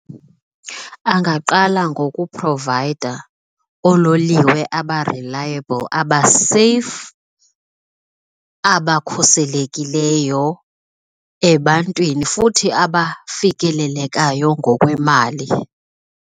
Angaqala ngokuprovayida oololiwe aba-reliable, abeseyifu, abakhuselekileyo ebantwini, futhi abafikelelekayo ngokwemali.